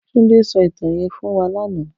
Tunde sò itàn yèn fún wà làná